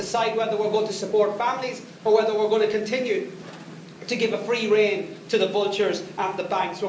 We have to decide whether we're going to support families or whether we're going to continue to give a free rein to the vultures and the banks.